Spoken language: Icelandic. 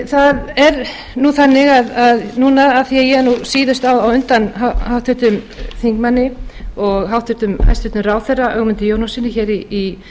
það er nú þannig að núna af því að ég er síðust á undan háttvirtum þingmanni og hæstvirtur ráðherra ögmundi jónassyni hér í